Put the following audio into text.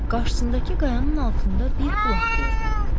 Qarşısındakı qayanın altında bir bulaq gördü.